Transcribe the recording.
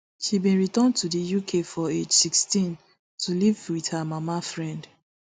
she bin return to di uk for age sixteen to live wit her mama friend